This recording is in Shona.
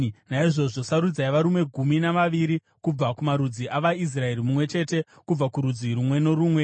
Naizvozvo, sarudzai varume gumi navaviri kubva kumarudzi avaIsraeri, mumwe chete kubva kurudzi rumwe norumwe.